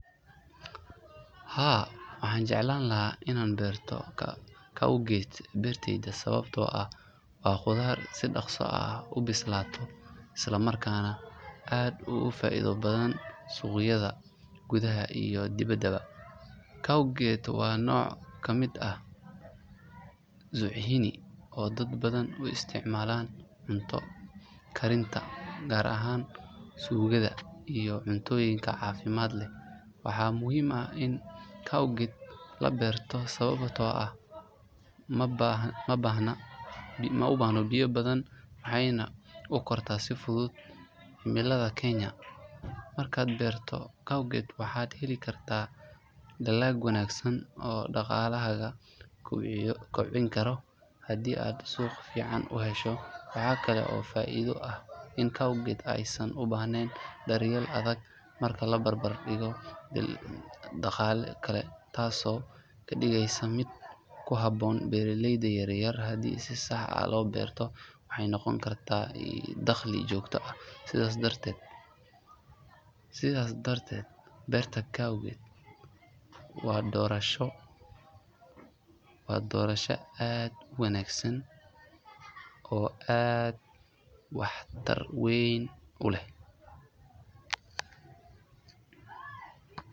Haa waxaan jeclaan lahaa inaan beerto courgette beertayda sababtoo ah waa khudaar si dhaqso ah u bislaata isla markaana aad ugu faa'iido badan suuqyada gudaha iyo dibadda. Courgette waa nooc ka mid ah zucchini oo dad badan u isticmaalaan cunto karinta gaar ahaan suugada iyo cuntooyinka caafimaad leh. Waxaa muhiim ah in courgette la beerto sababtoo ah ma baahna biyo badan waxayna u kortaa si fudud cimilada Kenya. Markaad beerto courgette waxaad heli kartaa dalag wanaagsan oo dhaqaalahaaga kobcin kara haddii aad suuq fiican u hesho. Waxa kale oo faa’iido ah in courgette aysan u baahnayn daryeel adag marka la barbar dhigo dalagyo kale taasoo ka dhigaysa mid ku habboon beeraleyda yar yar. Haddii si sax ah loo beerto waxay noqon kartaa il dakhli joogto ah. Sidaas darteed beerta courgette waa doorasho wanaagsan oo waxtar leh.